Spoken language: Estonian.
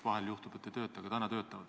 Vahel juhtub, et ei tööta, aga täna töötavad.